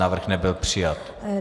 Návrh nebyl přijat.